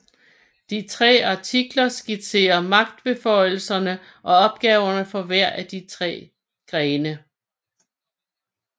De tre artikler skitserer magtbeføjelserne og opgaverne for hver af de tre grene